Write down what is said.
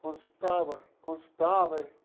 Consultava, consultava.